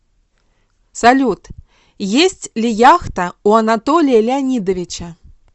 салют есть ли яхта у анатолия леонидовича